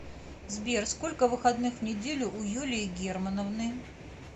сбер сколько выходных в неделю у юлии германовны